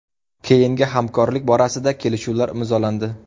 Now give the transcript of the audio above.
Keyingi hamkorlik borasida kelishuvlar imzolandi.